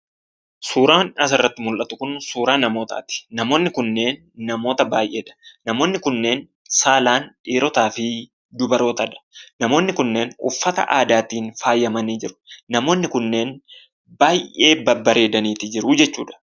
suuraan asirratti mul'atu kun suuraa namootaati, namoonni kunneen namoota baayyeedha. namoonni kunneen namoota saalaan dhiirotaafi dubarootadha. namoonni kunneen uffata aadaatiin faayyamanii jiru, namoonni kunneen baayyee babbareedaniiti jiruu jechuudha.